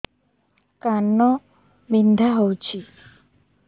କାନ ବିନ୍ଧା ହଉଛି